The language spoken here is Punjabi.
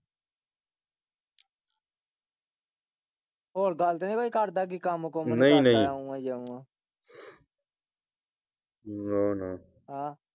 ਹੋਏ ਗੱਲ ਤੇ ਨੀ ਕੋਈ ਕਰਦਾ ਕੰਮ ਕੁੰਮ ਨਹੀਂ ਨਹੀਂ ਨਾ ਨਾ, ਹਾਂ।